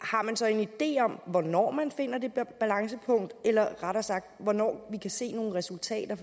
har man så en idé om hvornår man finder det balancepunkt eller rettere sagt hvornår man kan se nogle resultater